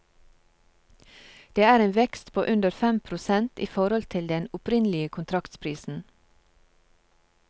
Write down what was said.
Det er en vekst på under fem prosent i forhold til den opprinnelige kontraktsprisen.